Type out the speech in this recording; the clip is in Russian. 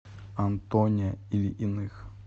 антоне ильиных